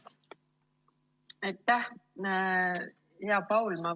Aitäh, hea Paul!